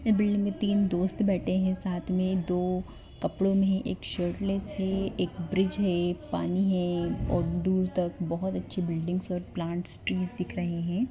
Building में तीन दोस्त बैठे हैं साथ में दो कपड़ों में एक शर्टलेस है एक ब्रिज है पानी है और दूर तक बहुत अच्छी बिल्डिंग और प्लांट्स ट्री दिख रहे हैं।